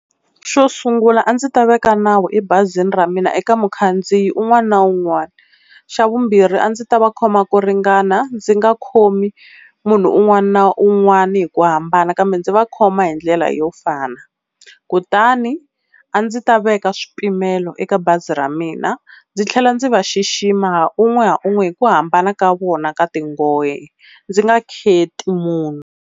Xo sungula a ndzi ta veka nawu ebazini ra mina eka mukhandziyi un'wana na un'wana. Xa vumbirhi a ndzi ta va khoma ku ringana ndzi nga khomi munhu un'wana na un'wana hi ku hambana kambe ndzi va khoma hi ndlela yo fana. Kutani a ndzi ta veka swipimelo eka bazi ra mina ndzi tlhela ndzi va xixima ha un'we ha un'we hi ku hambana ka vona ka tinghohe ndzi nga kheti munhu.